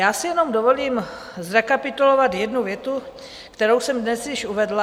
Já si jenom dovolím zrekapitulovat jednu větu, kterou jsem dnes již uvedla.